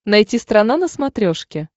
найти страна на смотрешке